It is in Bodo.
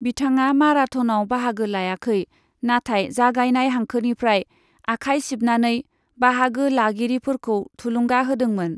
बिथाङा माराथनाव बाहागो लायाखै, नाथाय जागायनाय हांखोनिफ्राय आखाय सिबनानै बाहागो लागिरिफोरखौ थुलुंगा होदोंमोन।